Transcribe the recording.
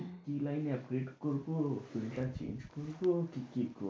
কি লাইনে upgrade করব কোনটা change করব। কি কি করব,